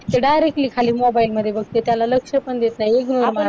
directly खाली mobile मध्ये बघते त्याला लक्ष पण देत नाही ignore करतात